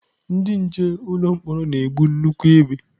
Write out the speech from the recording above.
Ndị nche ụlọ mkpọrọ na-ebu nnukwu egbe.